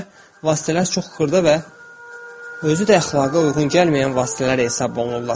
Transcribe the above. İndi belə vasitələr çox xırda və özü də əxlaqa uyğun gəlməyən vasitələr hesab olunurlar.